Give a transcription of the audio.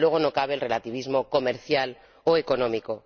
Y, desde luego, no cabe el relativismo comercial o económico.